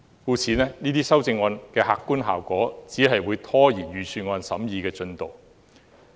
這些修正案的客觀效果只是拖延財政預算案的審議進度。